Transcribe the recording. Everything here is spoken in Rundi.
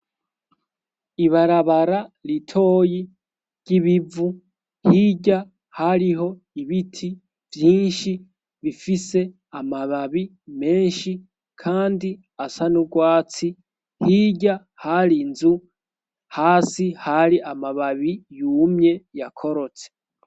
Ibarabara ritoyi ry'ibivu hirya hariho ibiti vyinshi bifise amababi menshi, kandi asa n'urwatsi hirya hari nzu hasi hari amababi yumye yakorotse.